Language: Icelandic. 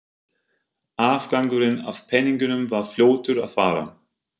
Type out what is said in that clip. Afgangurinn af peningunum var fljótur að fara.